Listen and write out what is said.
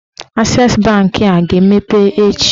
Ases banki a ga-emepe echi?